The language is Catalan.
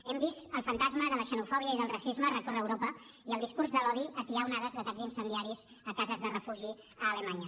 hem vist el fantasma de la xenofòbia i del racisme recórrer europa i el discurs de l’odi atiar onades d’atacs incendiaris a cases de refugi a alemanya